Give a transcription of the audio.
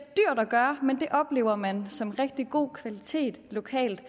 at gøre men det oplever man som en rigtig god kvalitet lokalt